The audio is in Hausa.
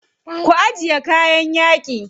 Ku ajiye kayan yaƙi.